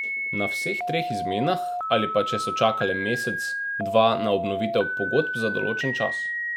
Na vseh treh izmenah ali pa če so čakale mesec, dva na obnovitev pogodb za določen čas.